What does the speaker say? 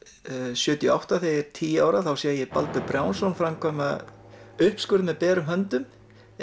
sjötíu og átta þegar ég er tíu ára sé ég Baldur Brjánsson framkvæma uppskurð með berum höndum